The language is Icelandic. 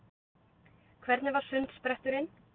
Hvernig var sundspretturinn?